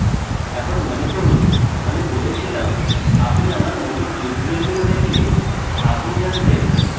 এখন মনে করুন আমি বলেছিলাম আপনি আমার মৌলিক টিউটোরিয়ালগুলি দেখলে আপনি জানতেন